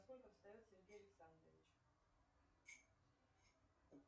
во сколько встает сергей александрович